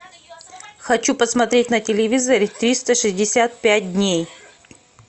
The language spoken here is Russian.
хочу посмотреть на телевизоре триста шестьдесят пять дней